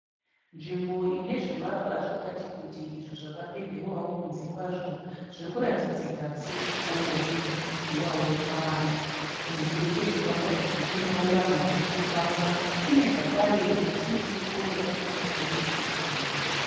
Nzvimbo ine zvivakwa zvakati kuti izvo zvakapendiwawo kunze kwazvo zviri kuratidzika sechikoro chinodzidziwawo navana kunze kwezvivakwa izvi kunewo vanhu vari kufamba kune zvakare miti yakanaka chaizvo panzvimbo iyi.